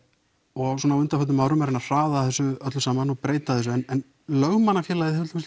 og svona á undanförnum árum reyna að hraða þessu öllu saman og breyta þessu en Lögmannafélagið hefur